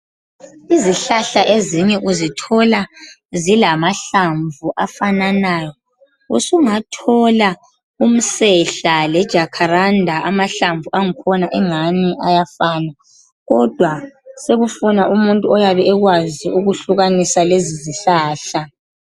Izihlahla ezinye uzithola zilamahlamvu afananayo. Usungathola umsehla lejacaranda, amahlamvu akhona engani ayafana, kodwa sekufuna. umuntu oyabe ekwazi ukwehlukanisa lezi zihlahla.